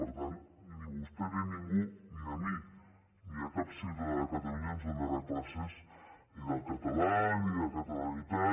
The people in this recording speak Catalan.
per tant ni vostè ni ningú ni a mi ni a cap ciutadà de catalunya ens donarà classes ni del català ni de catalanitat